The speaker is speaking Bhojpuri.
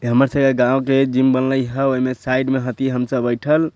इ हमर सबके गांव के जिम बनले हेय ओय में साइड हथि हम सब बइठल।